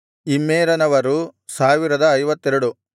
ಇಮ್ಮೇರನವರು 1052